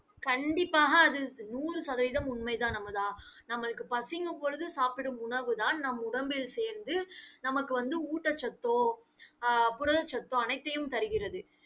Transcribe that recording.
கண்டிப்பாக, அது நூறு சதவிகிதம் உண்மைதான் அமுதா. நம்மளுக்கு பசிக்கும் பொழுது சாப்பிடும் உணவுதான் நம் உடம்பில் சேர்ந்து நமக்கு வந்து ஊட்டச்சத்தோ ஆஹ் புரதச்சத்தோ அனைத்தையும் தருகிறது.